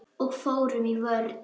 Og fórum í vörn.